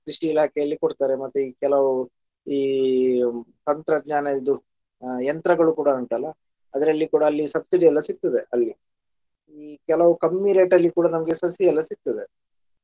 ಕೃಷಿ ಇಲಾಖೆಯಲ್ಲಿ ಕೊಡ್ತಾರೆ ಮತ್ತೆ ಈ ಕೆಲವು ಈ ತಂತ್ರಜ್ಞಾನ ಇದು ಯಂತ್ರಗಳು ಕೂಡ ಉಂಟಲ್ಲ ಅದರಲ್ಲಿ ಕೂಡಾ ಅಲ್ಲಿ subsidy ಎಲ್ಲ ಸಿಗ್ತದೆ ಅಲ್ಲಿ ಈ ಕೆಲವು ಕಮ್ಮಿ rate ಅಲ್ಲಿ ಕೂಡ ನಮ್ಗೆ ಸಸಿ ಎಲ್ಲ ಸಿಗ್ತದೆ.